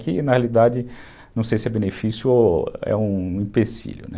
Que, na realidade, não sei se é benefício ou é um empecilho, né?